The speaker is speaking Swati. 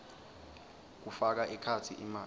kufaka ekhatsi imali